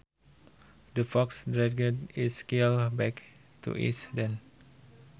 The fox dragged its kill back to its den